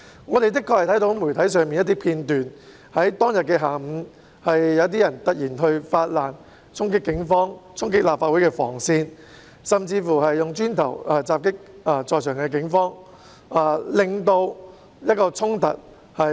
我們的確從媒體看到一些片段，在當日下午，有些人突然發難，衝擊警方、衝擊立法會的防線，甚至以磚頭襲擊在場的警員，引發衝突。